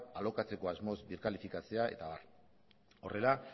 alokatzeko asmoz birkalifikatzea eta abar horrela